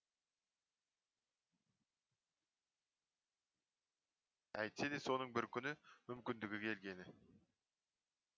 әйтсе де соның бір күні мүмкіндігі келгені